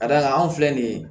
Ka d'a kan anw filɛ nin ye